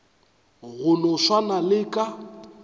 go no swana le ka